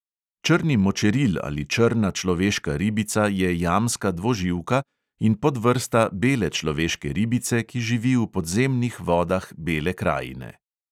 Črni močeril ali črna človeška ribica je jamska dvoživka in podvrsta bele človeške ribice, ki živi v podzemnih vodah bele krajine.